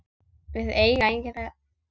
Við eiga engin börn.